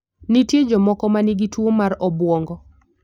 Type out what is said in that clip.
Nitie jomoko ma nigi tuwo mar obwongo.